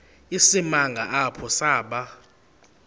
isimanga apho saba